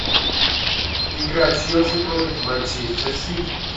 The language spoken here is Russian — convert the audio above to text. игра челси против манчестер сити